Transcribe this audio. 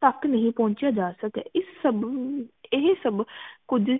ਤਕ ਨੀ ਪੋਂਛਿਆ ਜਾ ਸਕਿਆ ਇਸ ਸਬ ਨੂੰ ਇਹ ਸਬ ਕੁਜ